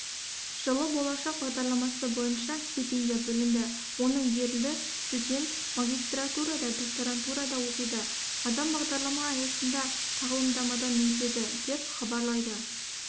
жылы болашақ бағдарламасы бойынша стипендия бөлінді оның берілді студент магистратурада докторантурада оқиды адам бағдарлама аясында тағылымдамадан өтеді деп хабарлайды